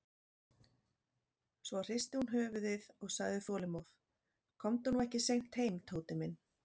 Svo hristi hún höfuðið og sagði þolinmóð: Komdu nú ekki seint heim, Tóti minn.